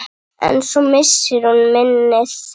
En svo missir hún minnið.